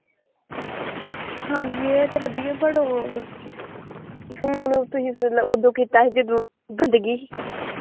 ਹਾਂਜੀ ਇਹ ਤੇ ਵਧੀਆ ਪਰ ਓਹ ਫ਼ੋਨ ਤੁਸੀਂ ਉਦੋਂ ਕੀਤਾ ਸੀ ਜਦੋਂ ਬੰਦਗੀ ਸੀ।